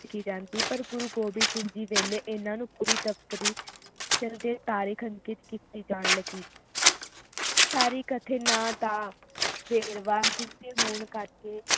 ਲਿਖੀ ਜਾਂਦੀ ਪਰ ਗੁਰੂ ਗੋਬਿੰਦ ਸਿੰਘ ਜੀ ਦੇ ਵੇਲੇ ਇਹਨਾਂ ਨੂੰ ਪੂਰੀ ਦਫ਼ਤਰੀ ਦੇ ਤਾਰੀਖ ਅੰਕਿਤ ਕੀਤੀ ਜਾਣ ਲੱਗੀ ਤਾਰੀਖ ਅਤੇ ਨਾ ਦਾ ਵੇਰਵਾ ਜਿਸ ਦੇ ਹੋਣ ਕਰਕੇ